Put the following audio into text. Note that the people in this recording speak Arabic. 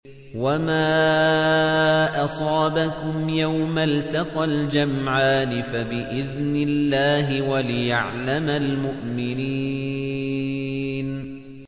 وَمَا أَصَابَكُمْ يَوْمَ الْتَقَى الْجَمْعَانِ فَبِإِذْنِ اللَّهِ وَلِيَعْلَمَ الْمُؤْمِنِينَ